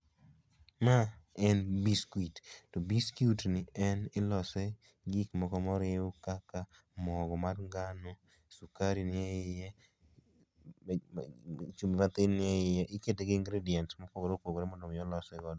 Ma en biscuit, to biscuit ni en ilose gi gik moko moriw kaka mogo mar ngano, sukari ni e iye, chumbi mathin ni e iye. Ikete gi ingredients mopogore opogore mondo mi olose godo.